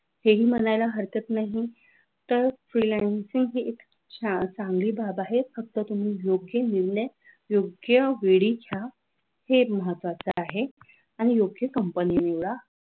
हे ही म्हणायला हरकत नाही तर freelancing ही एक छान चांगली बाब आहे. फक्त तुम्ही योग्य निर्णय योग्य वेळी घ्या आहे हे महत्वाचं आहे आणि योग्य company निवडा.